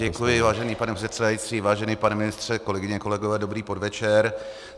Děkuji, vážený pane předsedající, vážený pane ministře, kolegyně, kolegové, dobrý podvečer.